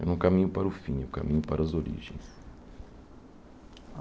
Não é um caminho para o fim, é um caminho para as origens.